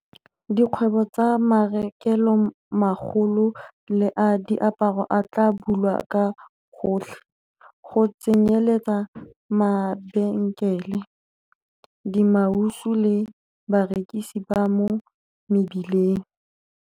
Dikgwebo tsa marekelomagolo le a diaparo a tla bulwa ka gotlhe, go tsenyeletsa mabenkele, dimausu le barekisi ba mo mebileng.